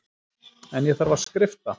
En ég þarf að skrifta.